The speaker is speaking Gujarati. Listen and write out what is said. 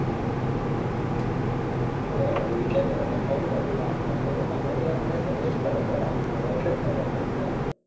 અરે ભાઈ એટલે તો તમને phone કર્યો યાર તમે તો મને sugest કરો છો life માં એટલે તો તમને phone કર્યો